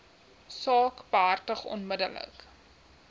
saak behartig onmiddellik